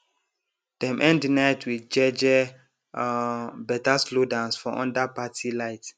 dem end de night with jeje um better slow dance for under parti light